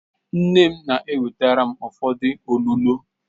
Nne m na-ewetara m ụfọdụ olulo